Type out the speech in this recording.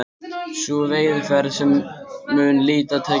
Sú veiðiaðferð mun lítið tíðkast nú.